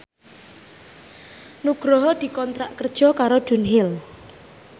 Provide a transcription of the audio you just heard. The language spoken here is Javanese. Nugroho dikontrak kerja karo Dunhill